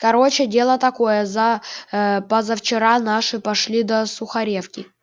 короче дело такое за э позавчера наши пошли до сухаревки